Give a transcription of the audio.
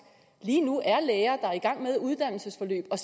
lige nu er læger der er i gang med uddannelsesforløb og